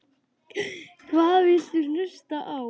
Hvað viltu hlusta á?